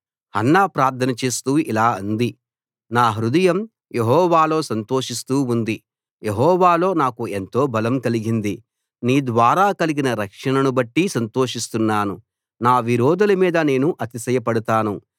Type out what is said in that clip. Hannah ప్రార్థన చేస్తూ ఇలా అంది నా హృదయం యెహోవాలో సంతోషిస్తూ ఉంది యెహోవాలో నాకు ఎంతో బలం కలిగింది నీ ద్వారా కలిగిన రక్షణను బట్టి సంతోషిస్తున్నాను నా విరోధుల మీద నేను అతిశయపడతాను